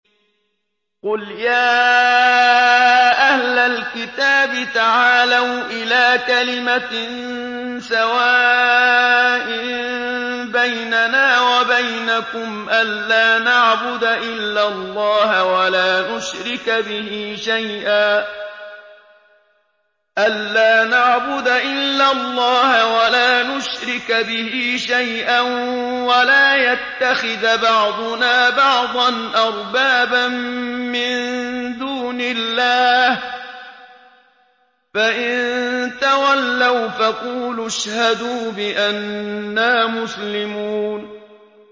قُلْ يَا أَهْلَ الْكِتَابِ تَعَالَوْا إِلَىٰ كَلِمَةٍ سَوَاءٍ بَيْنَنَا وَبَيْنَكُمْ أَلَّا نَعْبُدَ إِلَّا اللَّهَ وَلَا نُشْرِكَ بِهِ شَيْئًا وَلَا يَتَّخِذَ بَعْضُنَا بَعْضًا أَرْبَابًا مِّن دُونِ اللَّهِ ۚ فَإِن تَوَلَّوْا فَقُولُوا اشْهَدُوا بِأَنَّا مُسْلِمُونَ